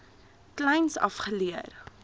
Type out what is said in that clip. kleins af geleer